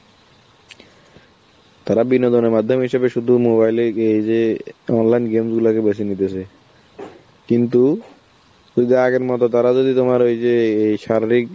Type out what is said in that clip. তারাবিনোদনের মাধ্যম হিসেবে শুধু mobile এ এই যে online game গুলাকে বেছে নিতেছে, কিন্তু যদি আগের মত তারা যদি তোমার ওই যে এই শারীরিক